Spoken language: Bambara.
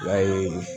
I b'a ye